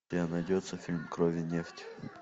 у тебя найдется фильм кровь и нефть